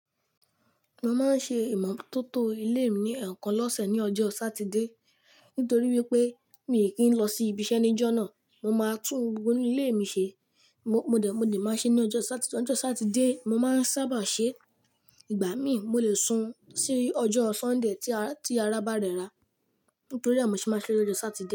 Mo máa ń ṣe ìmọ́tótó ilé mi ní ẹ̀ẹ̀kan lọ́sẹ̀ ní ọjọ́ Satidé. Nítorí wípé mi kì í lọ sí ibiṣẹ́ níjọ́ náà, mo máa tún gbogbo inu ilé mi ṣe. Mo, mo dè, mo lè máa ṣe ní ọjọ́ Sátidé, ọjọ́ Satidé mo máa ń sábà ṣe. Ìgbà mí mo lè sun sí ọjọ́ Sọ́ńdè tí ara, tí ara bá rẹra. Nítorí àmọ́ ṣe máa ṣe lójo Satidé.